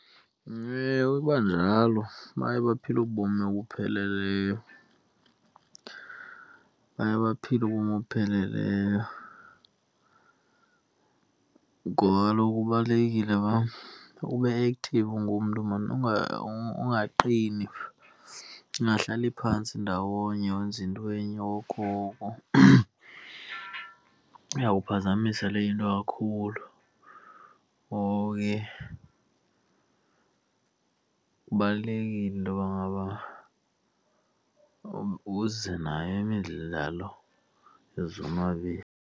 Ewe, iba njalo, baye baphile ubomi obupheleleyo. Baye baphile ubomi obupheleleyo ngoba kaloku kubalulekile uba ube-active ungumntu maan, angaqini, ungahlali phantsi ndawonye wenza into enye okokoko. Iyawuphazamisa leyo into kakhulu, ngoko ke kubalulekile intoba ngaba uze nayo imidlalo .